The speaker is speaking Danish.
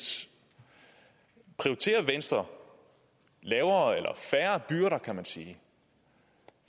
prioriterer venstre lavere eller færre byrder kan man sige